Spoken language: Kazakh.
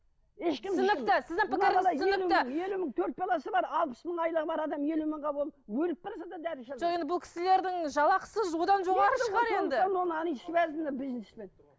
елу мың төрт баласы бар алпыс мың айлығы бар адам елу мыңға ол өліп бара жатса дәрі іше алмайды жоқ енді бұл кісілердің жалақысы одан жоғары шығар енді они связаны бизнеспен